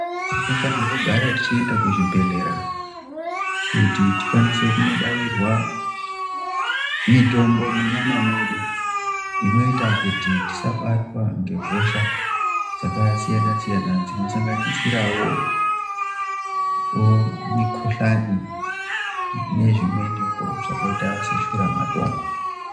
Tinofanirwa kugara tichienda kuzvibhedhlera kuti tikwanise kunobairwa mitombo munyama mwedu inoita kuti tisabatwa ngehosha dzakasiyana siyana dzinosanganisirawo mikhuhlani nezvimweniwo zvakaita seshura matongo.